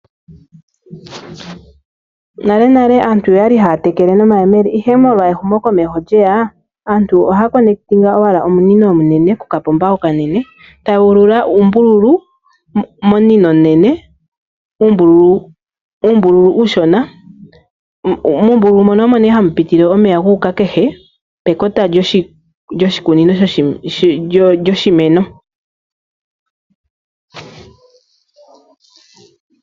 Nale nale aantu oyali haya tekele nomayemele. Ehumo komeho sho lyeya aantu ohaya kwatakaneke owala omunino omunene kokapomba, omunino ohagu ululwa uumbululu uushona mono hapu piti omeya guuka pekota lyoshimeno kehe.